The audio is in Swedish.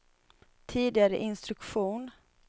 tidigare instruktion